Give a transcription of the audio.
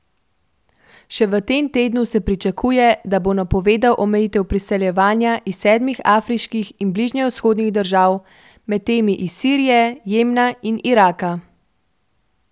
Še v tem tednu se pričakuje, da bo napovedal omejitve priseljevanja iz sedmih afriških in bližnjevzhodnih držav, med temi iz Sirije, Jemna in Iraka.